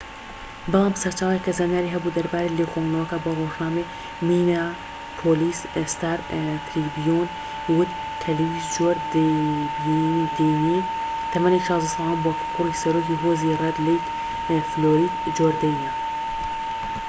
بەڵام سەرچاوەیەک کە زانیاری هەبوو دەربارەی لێکۆڵینەوەکە بە ڕۆژنامەی مینیاپۆلیس ستار تریبیون ی وت کە لویس جۆردەینی تەمەن ١٦ ساڵان بووە کە کوڕی سەرۆکی هۆزی ڕێد لەیک، فلۆید جۆردەینە